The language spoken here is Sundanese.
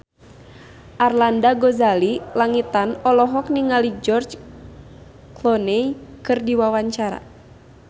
Arlanda Ghazali Langitan olohok ningali George Clooney keur diwawancara